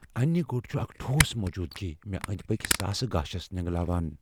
انہِ گۄٹ چُھ اكھ ٹھوس موجودگی ، مے اندۍ پكۍ ساسہٕ گاشس نینگلاوان ۔